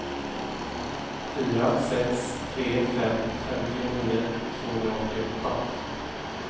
fyra sex tre fem femtionio tvåhundraåttioåtta